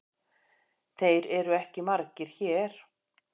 Þeir eru ekki margir hér.